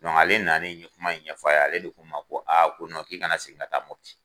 ale nalen ye kuma in ɲɛ f'a ye ale de kun ma ko ko k'i kana segin ka taa Mɔpti.